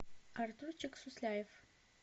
артурчик сусляев